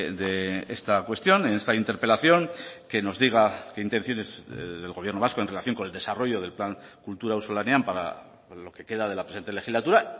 de esta cuestión en esta interpelación que nos diga que intenciones del gobierno vasco en relación con el desarrollo del plan kultura auzolanean para lo que queda de la presente legislatura